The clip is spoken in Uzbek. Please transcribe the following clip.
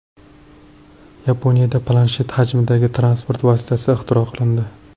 Yaponiyada planshet hajmidagi transport vositasi ixtiro qilindi .